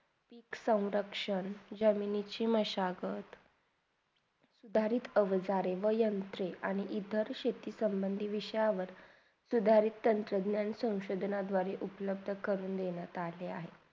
जमिनीचे induction जमिनीचे मशगत किवा जाडे वयांतरे आणि इतर शेती संबंधीत विषावर सुधारिक्ता सुदण्यांचा औषधे दुवारे उपलब्ध करून देनात आले आहेत.